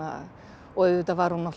og auðvitað var hún